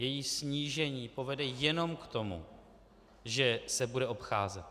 Její snížení povede jenom k tomu, že se bude obcházet.